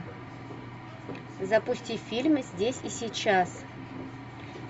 запусти фильм здесь и сейчас